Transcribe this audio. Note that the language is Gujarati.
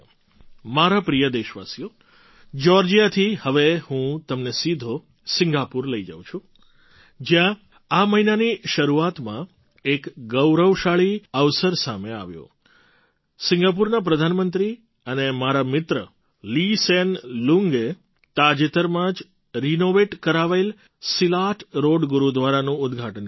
મારા પ્રિય દેશવાસીઓ જ્યૉર્જિયાથી હવે હું તમને સીધો સિંગાપુર લઈ જઉં છું જ્યાં આ મહિનાની શરૂઆતમાં એક ગૌરવશાળી અવસર સામે આવ્યો સિંગાપુરના પ્રધાનમંત્રી અને મારા મિત્ર લી સેન લુંગએ તાજેતરમાં જ રિનૉવેટ કરાવેલા સિલાટ રૉડ ગુરુદ્વારાનું ઉદ્ઘાટન કર્યું